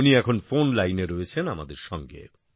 উনি এখন ফোনলাইনে রয়েছেন আমাদের সঙ্গে